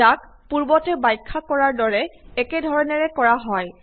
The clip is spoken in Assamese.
ইয়াক পূৰ্বতে ব্যাখ্যা কৰাৰ দৰে একে ধৰণেৰে কৰা হয়